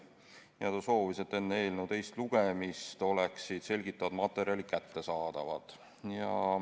Aivar Kokk soovis, et enne eelnõu teist lugemist oleksid selgitavad materjalid kättesaadavad.